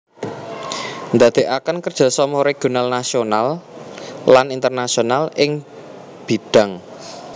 Nindakaken kerja sama regional nasional lan internasional ing bidhang